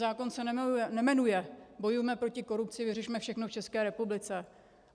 Zákon se nejmenuje "bojujme proti korupci, vyřešme všechno v České republice".